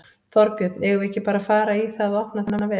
Þorbjörn: Eigum við ekki bara að fara í það að opna þennan vef?